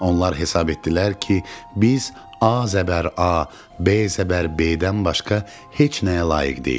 Onlar hesab etdilər ki, biz A zəbər A, B zəbər B-dən başqa heç nəyə layiq deyilik.